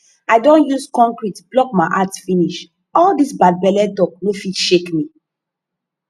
i don use concrete block my heart finish all dis bad belle talk no fit shake me